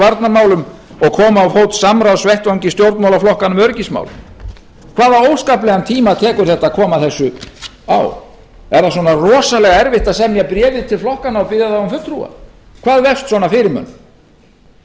varnarmálum og koma á fót samráðsvettvangi stjórnmálaflokkanna um öryggismál hvaða óskaplegan tíma tekur þetta að koma þessu á er það svona rosalega erfitt að semja bréfið til flokkanna og biðja þá um fulltrúa hvað vefst svona fyrir